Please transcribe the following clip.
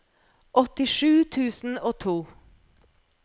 åttisju tusen og to